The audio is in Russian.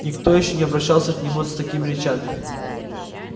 никто ещё не обращался к нему с такими речами